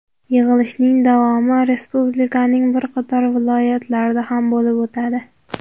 Yig‘ilishning davomi Respublikaning bir qator viloyatlarida ham bo‘lib o‘tadi.